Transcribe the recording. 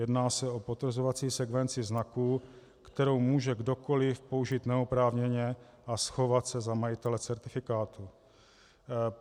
Jedná se o potvrzovací sekvenci znaků, kterou může kdokoliv použít neoprávněně a schovat se za majitele certifikátu.